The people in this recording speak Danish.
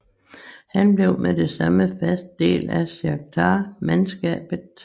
Han blev med det samme en fast del af Sjakhtar mandskabet